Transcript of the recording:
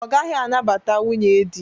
Ọ gaghị anabata nwunye dị.